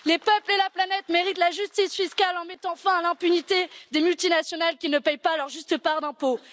Les peuples et la planète méritent la justice fiscale et que l'on mette fin à l'impunité des multinationales qui ne paient pas leur juste part d'impôts.